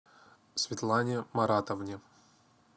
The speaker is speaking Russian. светлане маратовне